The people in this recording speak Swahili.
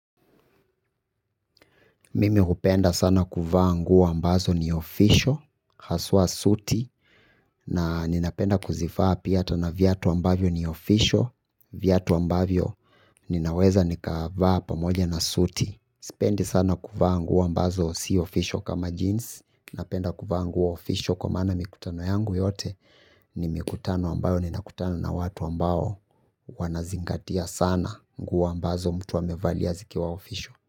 Mimi hupenda sana kuvaa nguo ambazo ni ofisho, haswa suti, na ninapenda kuzifaa piata na viato ambavyo ni ofisho, vyato ambavyo ninaweza nikavaa pamoja na sutis. Sipendi sana kuvaa nguo ambazo si ofisho kama jeans, ninapenda kuvaa nguwa ofisho kwa mana mikutano yangu yote, ni mikutano ambayo ninakutano na watu ambao wanazingatia sana nguo mbazo mtu amevaliazi kiwa ofisho.